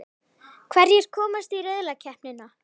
Hverjir komast í riðlakeppnina?